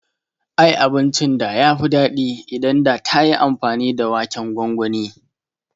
Ai abincin da yafi daɗi idan da tayi amfani da waken gongoni